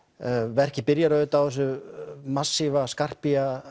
verkið byrjar auðvitað á þessu massíva